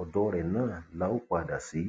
ọdọ rẹ náà la ó padà sí